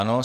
Ano.